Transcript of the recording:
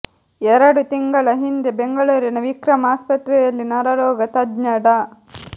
ಎರಡು ತಿಂಗಳ ಹಿಂದೆ ಬೆಂಗಳೂರಿನ ವಿಕ್ರಮ್ ಆಸ್ಪತ್ರೆಯಲ್ಲಿ ನರರೋಗ ತಜ್ಞ ಡಾ